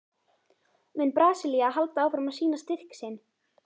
Mun Brasilía halda áfram að sýna styrk sinn?